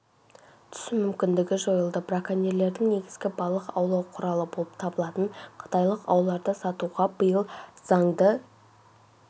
түсу мүмкіндігі жойылды браконьерлердің негізгі балық аулау құралы болып табылатын қытайлық ауларды сатуға биыл заңды